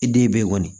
I den be yen kɔni